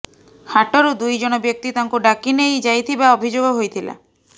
ହାଟରୁ ଦୁଇ ଜଣ ବ୍ୟକ୍ତି ତାଙ୍କୁ ଡାକି ନେଇ ଯାଇଥିବା ଅଭିଯୋଗ ହୋଇଥିଲା